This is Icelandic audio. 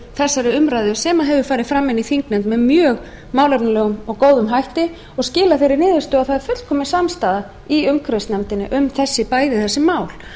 þessari umræðu sem hefur farið fram í þingnefnd með mjög málefnalegum og góðum hætti og skilað þeirri niðurstöðu að það er fullkomin samstaða í umhverfisnefndinni um bæði þessi mál